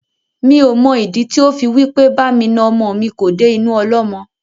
Mi ò mọ ìdí tí ó fi wí pé bá mi na ọmọ mi kò dé inú ọlọ́mọ.